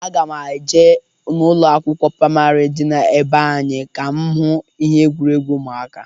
Aga m eje n'ụlọkwụ pramari dị na be anyị ka m hụ egwuregwu ụmụaka.